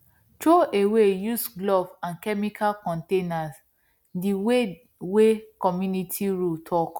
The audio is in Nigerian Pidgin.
throwaway used glove and chemical container the way wey community rule talk